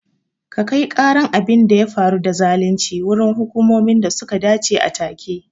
Ka kai karan abin da ya faru da zalunci wurin hukumomin da suka dace a take